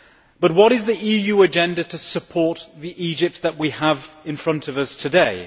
But what is the EU agenda to support the Egypt that we have in front of us today?